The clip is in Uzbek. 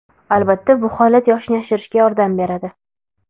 Albatta, bu holat yoshni yashirishga yordam beradi.